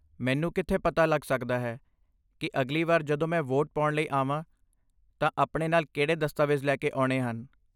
ਮੈਨੂੰ ਕਿੱਥੇ ਪਤਾ ਲੱਗ ਸਕਦਾ ਹੈ ਕਿ ਅਗਲੀ ਵਾਰ ਜਦੋਂ ਮੈਂ ਵੋਟ ਪਾਉਣ ਲਈ ਆਵਾਂ ਤਾਂ ਆਪਣੇ ਨਾਲ ਕਿਹੜੇ ਦਸਤਾਵੇਜ਼ ਲੈ ਕੇ ਆਉਣੇ ਹਨ?